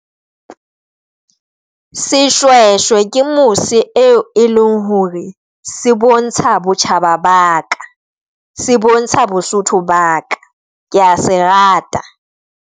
Seshwehswe ke mose eo e leng hore se bontsha botjhaba ba ka se bontsha Bosotho ba ka. Kea se rate.